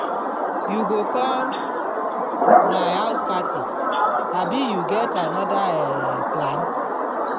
you go come my house party abi you get anoda um plan?